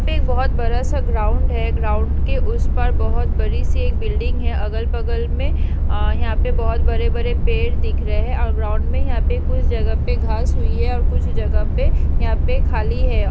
यहाँ पे एक बहोत बड़ा सा ग्राउन्ड है ग्राउन्ड के उस पार बहोत बड़ी सी एक बिल्डिंग है अगल-बगल में अ यहाँ पे बहोत बड़े-बड़े पेड़ दिख रहे है और ग्राउन्ड मे यहाँ पे कुछ जगह पे घास हुई है और कुछ जगह पे यहाँ पे खाली है।